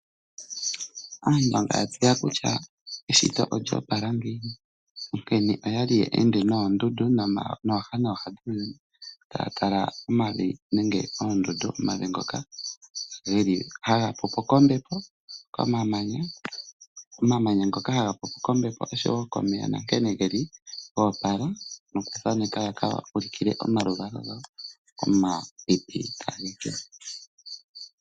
Aantu manga ya tseya kutya eshito olyoopala ngiini. Onkene oya li ye ende moondundu nooha nooha dhuuyuni taya tala omavi nenge oondundu, omavi ngoka geli haga pupo kombepo, komamanya, omamanya ngoka haga pupo komeya noshowo nankene geli goopala nokuthaaneka ya ka ulukile omaluvalo gawo, omapipi tage keya.